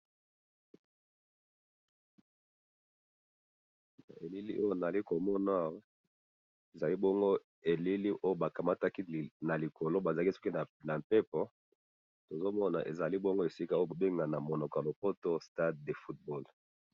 elili oyo nazali komona awa ,ezali bongo elili oyo bakamataki na likolo bazalaki soki na mpepo tozomona azali esika oyo babengaka na munoko ya poto stade de football